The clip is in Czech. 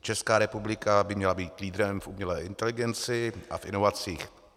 Česká republika by měla být lídrem v umělé inteligenci a v inovacích.